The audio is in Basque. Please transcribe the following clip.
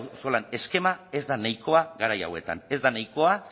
auzolan eskema ez da nahikoa garai hauetan ez da nahikoa